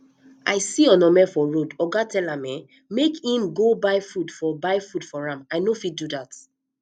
i see onome for road oga tell am um make im go buy food for buy food for am i no fit do dat